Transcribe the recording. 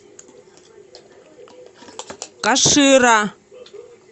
кашира